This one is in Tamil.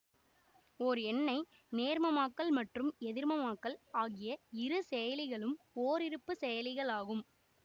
ஓர் எண்ணை நேர்மமாக்கல் மற்றும் எதிர்மமாக்கல் ஆகிய இரு செயலிகளும் ஓருறுப்புச் செயலிகளாகும்